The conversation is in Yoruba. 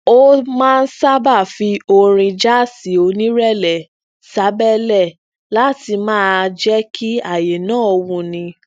ó máa ń sábà fi orin jaasi onirẹlẹ sabẹlẹ láti maa jẹ kí àyè náà wuni